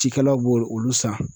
Cikɛlaw bo olu san.